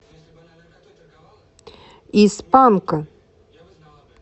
из панка